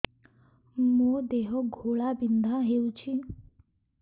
ମୋ ଦେହ ଘୋଳାବିନ୍ଧା ହେଉଛି